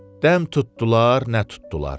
Dəm tutdular, nə tutdular.